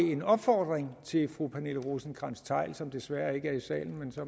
en opfordring til fru pernille rosenkrantz theil som desværre ikke er i salen men så